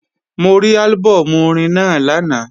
Mo rí álbọ̀mù orin náà lánàá